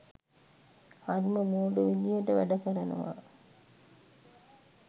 හරිම මෝඩ විදිහට වැඩ කරනවා